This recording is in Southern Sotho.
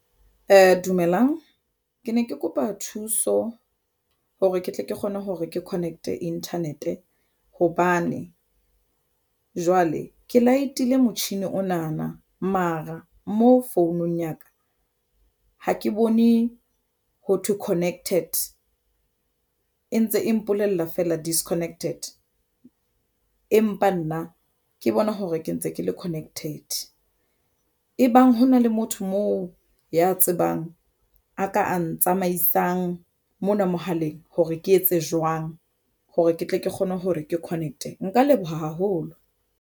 Dumelang ke ne ke kopa thuso hore ke tle ke kgone hore ke connect-e internet hobane jwale ke light-ile motjhini ona na mara mo founung ya ka ha ke bone ho thwe connected e ntse e mpolella feela disconnected, empa nna ke bona hore ke ntse ke le connected ebang hona le motho moo ya tsebang a ka a ntsamaisang mona mohaleng hore ke etse jwang hore ke tle ke kgone hore ke connect. Nka leboha haholo.